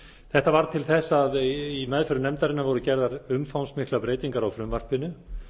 þetta varð til þess að í meðförum nefndarinnar voru gerðar umfangsmiklar breytingar á frumvarpinu